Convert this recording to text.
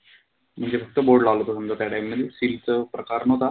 म्हणजे फक्त board लावला होता समजा त्या time मधी seal चा प्रकार नव्हता.